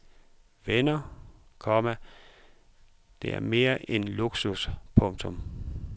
Venner, komma det er mere end luksus. punktum